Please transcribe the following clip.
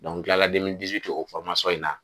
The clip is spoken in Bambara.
n kilala o in na.